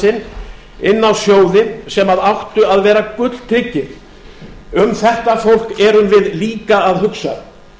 sinn inn á sjóði sem áttu að vera gulltryggir um þetta fólk erum við líka að hugsa